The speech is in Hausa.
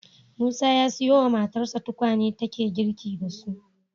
Musa ya siyo wa matarsa tukwane take girki da su